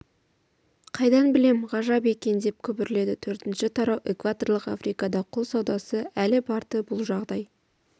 қайдан білем ғажап екен деп күбірледі төртінші тарау экваторлық африкада құл саудасы әлі бар-ды бұл жағдай